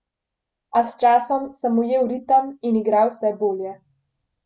A s časom sem ujel ritem in igral vse bolje.